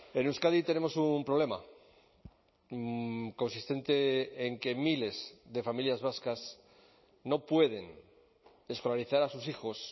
en euskadi tenemos un problema consistente en que miles de familias vascas no pueden escolarizar a sus hijos